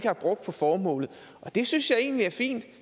har brugt på formålet og det synes jeg egentlig er fint